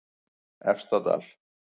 Efstadal